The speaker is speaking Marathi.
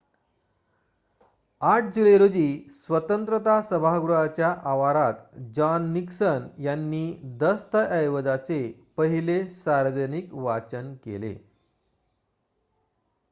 ८ जुलै रोजी स्वतंत्रता सभागृहाच्या आवारात जॉन निक्सन यांनी दस्तऐवजाचे पहिले सार्वजनिक वाचन केले